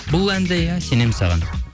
бұл ән де иә сенемін саған